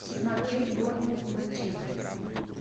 смотреть борнмут манчестер